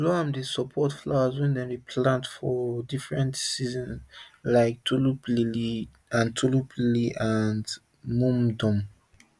loam dey support flower wey dem dey plant for different season like tulip lily and tulip lily and mum dem